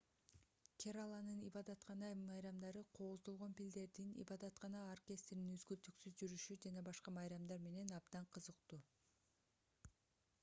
кераланын ибадаткана майрамдары кооздолгон пилдердин ибадаткана оркестринин үзгүлтүксүз жүрүшү жана башка майрамдар менен абдан кызыктуу